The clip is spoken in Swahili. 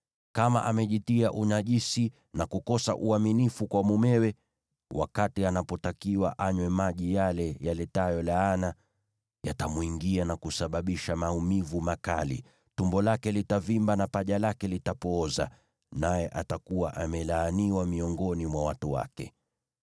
Kama amejitia unajisi na kukosa uaminifu kwa mumewe, wakati anapotakiwa anywe maji yale yaletayo laana, yatamwingia na kusababisha maumivu makali; tumbo lake litavimba na paja lake litapooza, naye atakuwa amelaaniwa miongoni mwa watu wake.